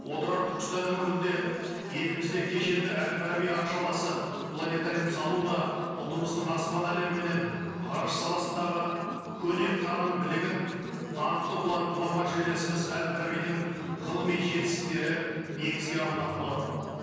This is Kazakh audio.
отырар түркістан өңірінде елімізде кешенді әл фараби аршаласы планетарийін салу да ұлтымыздың аспан әлемі менен ғарыш саласындағы көне таным білігін данқты ғұлама жерлесіміз әл фарабидің ғылыми жетістіктері негізге алынатын болады